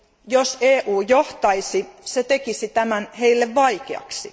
Jos EU johtaisi, se tekisi tämän heille vaikeaksi.